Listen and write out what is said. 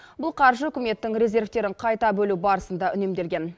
бұл қаржы үкіметтің резервтерін қайта бөлу барысында үнемделген